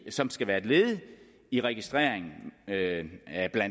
som skal være et led i registreringen